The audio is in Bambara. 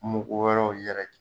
Muku wɛrɛw yɛrɛ